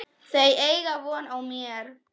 Þau eiga von á mér.